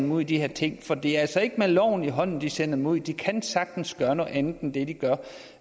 ud i de her ting for det er altså ikke med loven i hånden de sender dem ud de kan sagtens gøre noget andet end det de gør